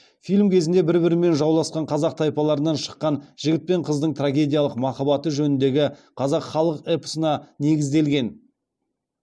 фильм кезінде бір бірімен жауласқан қазақ тайпаларынан шыққан жігіт пен қыздың трагедиялық махаббаты жөніндегі қазақ халық эпосына негізделген